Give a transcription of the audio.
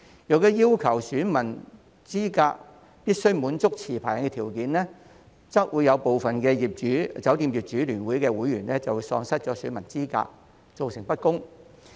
如果要求選民資格必須滿足持牌人的條件，則會有部分酒店業主聯會的會員喪失選民資格，造成不公。